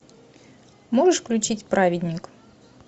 можешь включить праведник